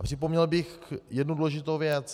A připomněl bych jednu důležitou věc.